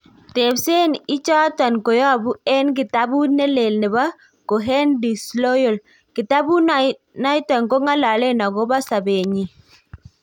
Tepset ichaniton koyapu en kitabut ne lee nepo Cohen-Disloyal. kitabut naito kongalalen akopa sapet neyin.